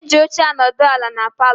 Eji óche anodu ala n' paló.